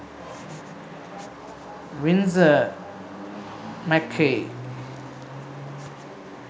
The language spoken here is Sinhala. winsor mccay